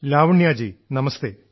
Lavanya ji നമസ്തേ